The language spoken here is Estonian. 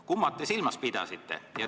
Kumba te silmas pidasite?